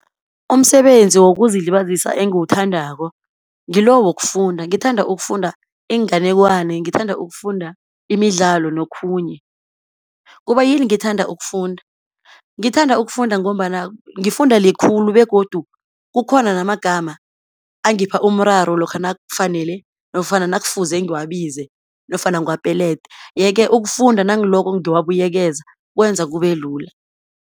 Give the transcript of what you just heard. Umsebenzi wokuzilibazisa engiwuthandako, ngilo wokufunda, ngithanda ukufunda iinganekwana, ngithanda ukufunda imidlalo nokhunye. Kubayini ngithanda ukufunda? ngithanda ukufunda ngombana, ngifunda likhulu begodu kukhona namagama angipha umraro lokha nakufanele, nofana nakufuze ngiwabize, nofana ngiwapelede. Ye-ke ukufunda nangiloko ngiwabuyekezeka kwenza kube lula.